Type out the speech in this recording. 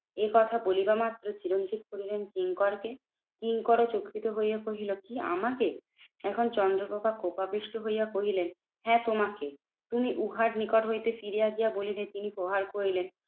একথা বলিবা মাত্র চিরঞ্জিত কহিলেন, কিঙ্কর কে? কিঙ্করও চকিত হইয়া কহিল কি আমাকে? এখন চন্দ্রপ্রভা কোপাবিষ্ট হইয়া কহিলেন, হ্যাঁ তোমাকে? তুমি উহার নিকট হইতে ফিরিয়া গিয়া বলিদি, তিনি প্রহার করিলেন